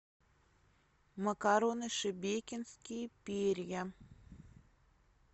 макароны шебекинские перья